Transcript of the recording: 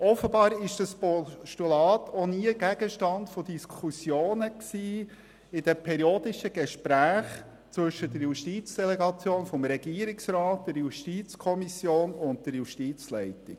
Offenbar war dieses Postulat auch nie Gegenstand von Diskussionen in den periodischen Gesprächen zwischen der Justizdelegation des Regierungsrats, der JuKo und der Justizleitung.